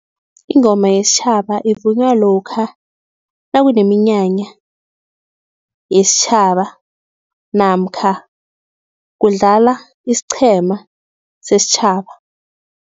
Ingoma yesitjhaba evunywa lokha nakuneminyanya yesitjhaba namkha kudlala isiqhema sesitjhaba.